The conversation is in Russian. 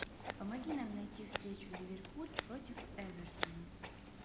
помоги нам найти встречу ливерпуль против эвертона